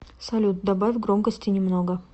салют добавь громкости немного